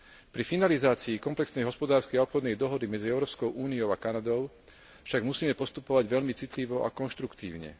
Pri finalizácii komplexnej hospodárskej a obchodnej dohody medzi Európskou úniou a Kanadou však musíme postupovať veľmi citlivo a konštruktívne.